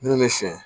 Minnu bɛ fiyɛ